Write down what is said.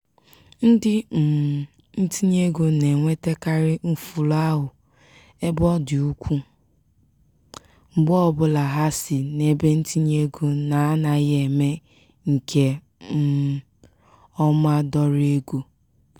ndi um ntinyeego na-enwetakarị mfulahụ ebe ọ dị ukwu mgbe ọbụla ha si n'ebentinyeego na-anaghị eme nke um ọma dọrọ ego.